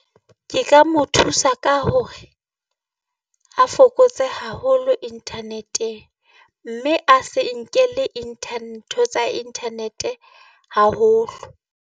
Ke ka mo thusa ka hore a fokotse haholo internet-e, mme a se nkele ntho tsa internet-e haholo.